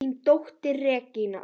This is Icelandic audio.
Þín dóttir, Regína.